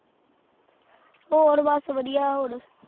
ਹੋਰ ਬਸ ਵਧੀਆ ਹੋਰ